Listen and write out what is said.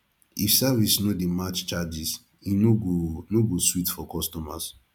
if service no dey match charges e no go no go sweet for customers